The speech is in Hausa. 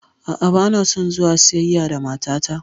A'a, banason zuwa siyayya da matata.